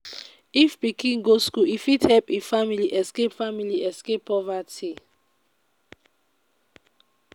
if pikin go school e fit help e family escape family escape poverty.